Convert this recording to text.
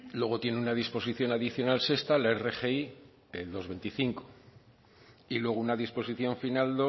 luego tiene una disposición adicional sexta la rgi el dos coma veinticinco y luego una disposición final